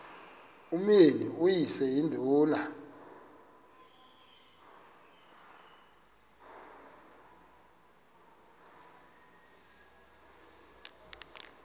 umyeni uyise iduna